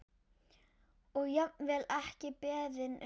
Og jafnvel ekki beðinn um.